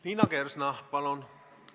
Liina Kersna, palun!